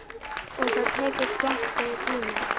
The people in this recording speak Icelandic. Og það tekur skemmri tíma.